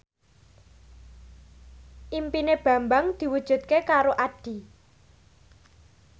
impine Bambang diwujudke karo Addie